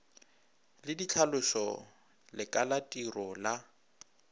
le ditlhalošo go lekalatiro la